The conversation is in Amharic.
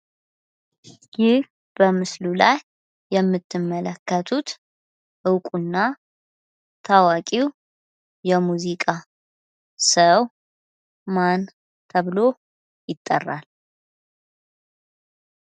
ይህ በምስሉ ላይ የምትመለከቱት እውቁና ታዋቂው የሙዚቃ ሰው ማን ተብሎ ይጠራል?